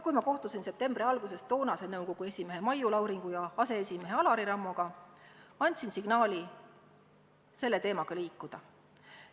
Kui ma septembri alguses toonase nõukogu esimehe Maiu Lauringu ja nõukogu aseesimehe Alari Rammoga kohtusin, andsin signaali selle teemaga edasi liikuda.